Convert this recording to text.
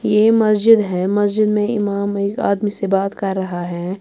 .یہ مسجد ہیں مسجد مے امام ایک آدمی سے بات کر رہا ہیں